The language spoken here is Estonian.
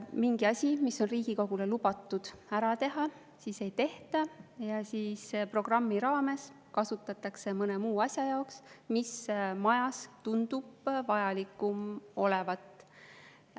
Mingit asja, mille kohta on Riigikogule antud lubadus see ära teha, ei tehta ja programmi raames kasutatakse mõne muu asja jaoks, mis majas tundub vajalikum olevat.